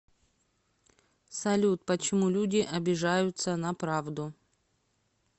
салют почему люди обижаются на правду